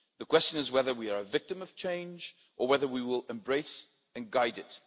The question is whether we are a victim of change or whether we will embrace and guide it.